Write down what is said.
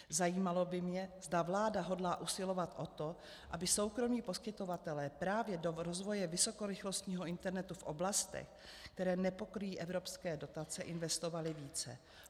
Zajímalo by mě, zda vláda hodlá usilovat o to, aby soukromí poskytovatelé právě do rozvoje vysokorychlostního internetu v oblastech, které nepokryjí evropské dotace, investovali více.